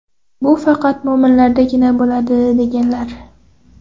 Bu faqat mo‘minlardagina bo‘ladi”, deganlar.